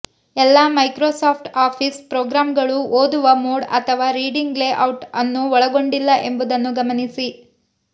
ಎಲ್ಲಾ Microsoft Office ಪ್ರೊಗ್ರಾಮ್ಗಳು ಓದುವ ಮೋಡ್ ಅಥವಾ ರೀಡಿಂಗ್ ಲೇಔಟ್ ಅನ್ನು ಒಳಗೊಂಡಿಲ್ಲ ಎಂಬುದನ್ನು ಗಮನಿಸಿ